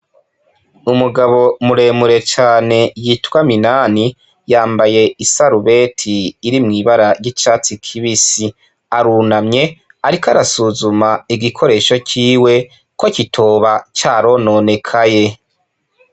Umugabo muremure cane yitwa minani yambaye isarubeti iri mw'ibara ry'icatsi kibisi arunamye, ariko arasuzuma igikoresho ciwe ko kitoba ca rononekaye.